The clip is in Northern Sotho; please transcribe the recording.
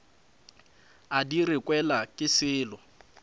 a di rekelwa ke sello